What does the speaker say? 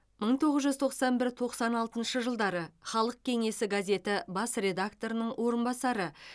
мың тоғыз жүз тоқсан бір тоқсан алтыншы жылдары халық кеңесі газеті бас редакторының орынбасары